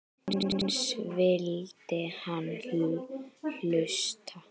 Eins vildi hann hlusta.